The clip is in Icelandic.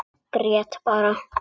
Grét bara.